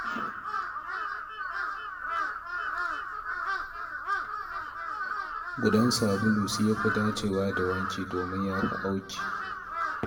Gudan sabulu shi ya fi dacewa da wanki domin ya fi auki